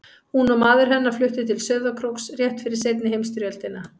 Hún og maður hennar fluttu til Sauðárkróks rétt fyrir seinni heimsstyrjöldina.